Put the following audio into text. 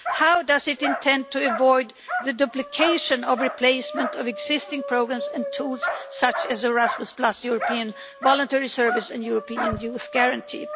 How does it intend to avoid the duplication or replacement of existing programmes and tools such as Erasmus, the European Voluntary Service and the European Youth Guarantee?